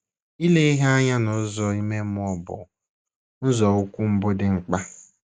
Ile ihe anya n’ụzọ ime mmụọ bụ nzọụkwụ mbụ dị mkpa.